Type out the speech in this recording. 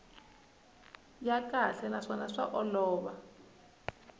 ya kahle naswona swa olova